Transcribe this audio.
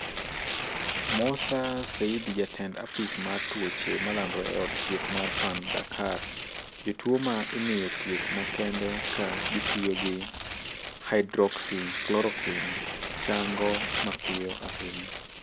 Mossa Seydi, Jatend apis mar tuoche malandore e od thieth mar Fann, Dakar:"Jotuwo ma imiyo thieth makende ka gitiyo gi Hydroxychloroquine chango mapiyo ahinya".